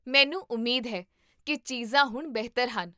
ਮੈਨੂੰ ਉਮੀਦ ਹੈ ਕੀ ਚੀਜ਼ਾਂ ਹੁਣ ਬਿਹਤਰ ਹਨ?